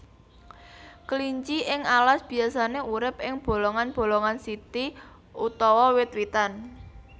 Kelinci ing alas biasané urip ing bolongan bolongan siti utawa wit witan